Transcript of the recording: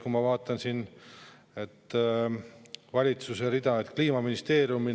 Kui ma vaatan siin valitsuse rida, et Kliimaministeerium